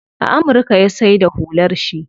A amurka ya saida hular shi.